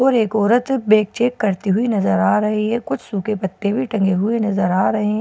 और एक औरत बैक चेक करती हुई नजर आ रही है कुछ सूखे पत्ते भी टंगे हुए नजर आ रहे हैं।